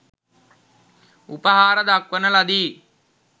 උපහාර දක්වන ලදී.